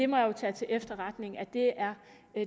må jo tage til efterretning at det er